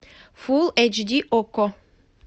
фул эйч ди окко